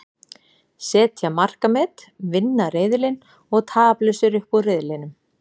Setja markamet, vinna riðilinn og taplausir upp úr riðlinum.